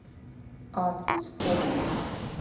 адрес форд